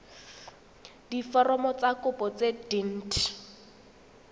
diforomo tsa kopo tse dint